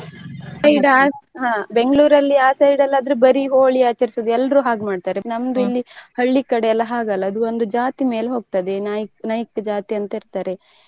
ಹಾ Bangalore ಅಲ್ಲಿ ಆ side ಅಲ್ಲಿ ಆದ್ರೆ ಬರಿ Holi ಆಚರಿಸುವುದು ಎಲ್ರೂ ಹಾಗೆ ಮಾಡ್ತಾರೆ ನಮ್ದು ಇಲ್ಲಿ ಹಳ್ಳಿ ಕಡೆ ಆತರ ಅಲ್ಲ ಆಡು ಒಂದು ಜಾತಿ ಮೇಲೆ ಹೊಗ್ತದೆ ನಾ~ ನಾಯ್ಕ ಜಾತಿ ಅಂತ ಇರ್ತಾರೆ.